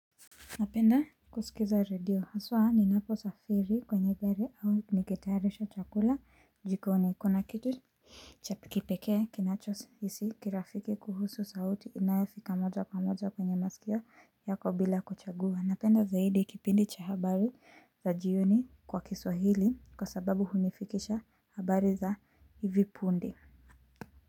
Napenda kusikiza radio. Haswaa ninaposafiri kwenye gari au nikitayarisha chakula jikoni kuna kitu. Chapi kipekee kinachohisi kirafiki kuhusu sauti inayofika moja kwa moja kwenye masikio yako bila kuchagua. Napenda zaidi kipindi cha habari za jioni kwa kiswahili kwa sababu hunifikisha habari za hivi punde.